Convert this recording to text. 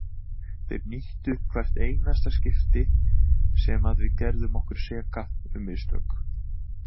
Þeir nýttu hvert einasta skipti sem að við gerðum okkur seka um mistök.